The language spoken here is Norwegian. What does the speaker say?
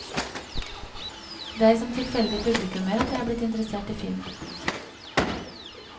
Det er som tilfeldig publikummer at jeg er blitt interessert i film.